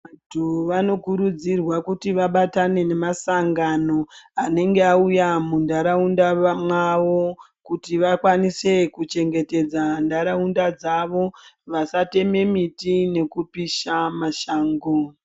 Vanthu vanokurudzirwa kuti vabatane nemasangano anenge auye munharaunda mwavo kuti vakwanise kuchengetedza nharaunda dzavo vasateme miti nekupisha mashango.